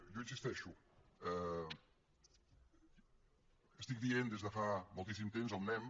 jo hi insisteixo estic dient des de fa moltíssim temps on anem